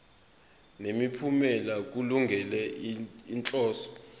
nemiphumela kulungele inhloso